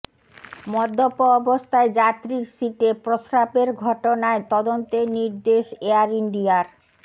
মদ্যপ অবস্থায় যাত্রীর সিটে প্রস্রাবের ঘটনায় তদন্তের নির্দেশ এয়ার ইন্ডিয়ার